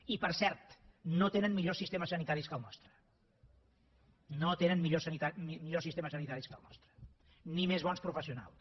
i per cert no tenen millors sistemes sanitaris que el nostre no tenen millors sistemes sanitaris que el nostre ni més bons professionals